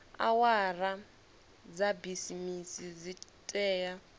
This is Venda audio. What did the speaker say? awara dza bisimisi dzi tea